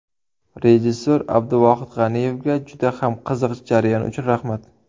Rejissor Abduvohid G‘aniyevga juda ham qiziq jarayon uchun rahmat.